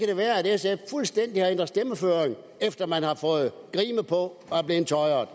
det være at sf fuldstændig har ændret stemmeføring efter man har fået grime på og er blevet tøjret